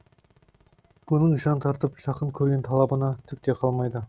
бұның жан тартып жақын көрген талабынан түкте қалмайды